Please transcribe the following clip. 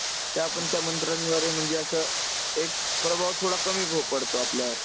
ते आपण त्या मंत्रांद्वारे म्हणजे असं एक प्रभाव थोडा कमी पडतो आपल्यावर.